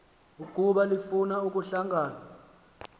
ukuba lifuna ukuhlangana